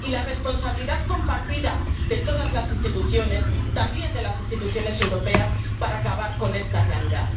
Y hablamos de la responsabilidad compartida de todas las instituciones, también de las instituciones europeas, para acabar con esta realidad.